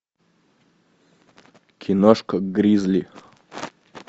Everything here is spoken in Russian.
киношка гризли